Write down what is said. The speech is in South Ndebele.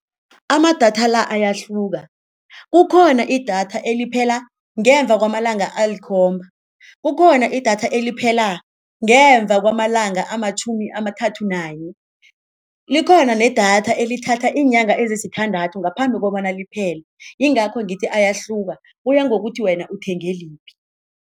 Amadatha la ayahluka, kukhona idatha eliphela ngemva kwamalanga alikhomba, kukhona idatha eliphela ngemva kwamalanga amatjhumi amathathu nanye, likhona nedatha elithatha iinyanga ezisithandathu ngaphambi kobana liphele, yingakho ngithi ayahluka, kuya ngokuthi wena uthenge liphi.